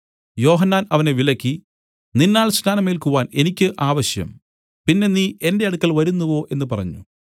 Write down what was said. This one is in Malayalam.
യോഹന്നാൻ അവനെ വിലക്കി നിന്നാൽ സ്നാനം ഏല്ക്കുവാൻ എനിക്ക് ആവശ്യം പിന്നെ നീ എന്റെ അടുക്കൽ വരുന്നുവോ എന്നു പറഞ്ഞു